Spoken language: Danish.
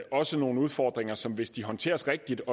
også nogle udfordringer som hvis de håndteres rigtigt